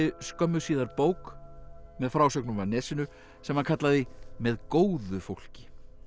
skömmu síðar bók með frásögnum af Nesinu sem hann kallaði með góðu fólki